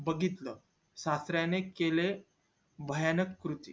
बघितलं सासऱ्याने केले भयानक कृत्य